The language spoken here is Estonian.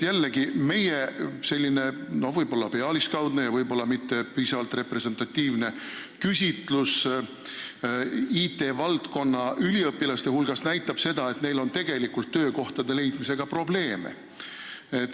Meie võib-olla pealiskaudne ja mitte piisavalt representatiivne küsitlus IT-valdkonna üliõpilaste hulgas näitas, et neil on töökoha leidmisega probleeme.